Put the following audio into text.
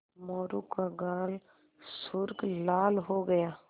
मोरू का गाल सुर्ख लाल हो गया